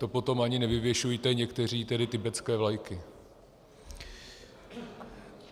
To potom ani nevyvěšujte, někteří tedy, tibetské vlajky.